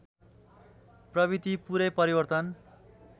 प्रवृत्ति पूरै परिवर्तन